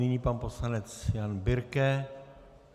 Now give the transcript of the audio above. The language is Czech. Nyní pan poslanec Jan Birke.